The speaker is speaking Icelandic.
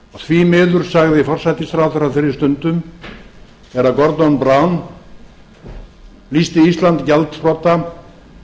því miður sagði forsætisráðherra á þeirri stundu þegar gordon brown lýsti ísland gjaldþrota